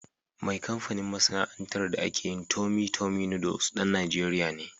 Mai kamfanin/masana'antar da ake yin "Tummy tummy noodles" ɗan Najeriya ne.